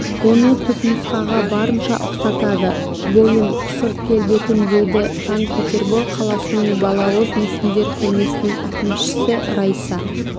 оны түпнұсқаға барынша ұқсатады бойын сырт келбетін дейді сан-петербор қаласының балауыз мүсіндер көрмесінің әкімшісі раиса